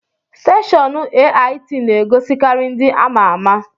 Steshọọnu AIT n'egosikari ndị amaama.